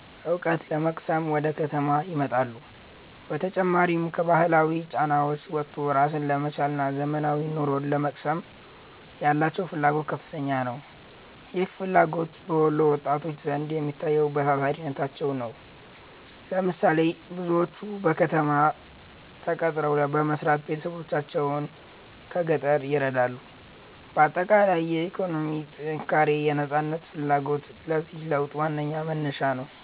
ዕውቀት ለመቅሰም ወደ ከተማ ይመጣሉ። በተጨማሪም፣ ከባህላዊ ጫናዎች ወጥቶ ራስን ለመቻልና ዘመናዊ ኑሮን ለመቅመስ ያላቸው ፍላጎት ከፍተኛ ነው። ይህ ፍላጎት በወሎ ወጣቶች ዘንድ የሚታየው በታታሪነታቸው ነው። ለምሳሌ፦ ብዙዎቹ በከተማ ተቀጥረው በመስራት ቤተሰቦቻቸውን ከገጠር ይረዳሉ። ባጠቃላይ፣ የኢኮኖሚ ጥንካሬና የነፃነት ፍላጎት ለዚህ ለውጥ ዋነኛ መነሻዎች ናቸው።